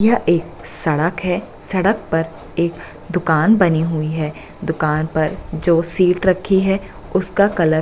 यह एक सड़क है सड़क पर एक दुकान बनी हुई है दुकान पर जो सीट रखी है उसका कलर --